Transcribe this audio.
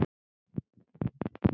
Þinn sonur, Bjarni.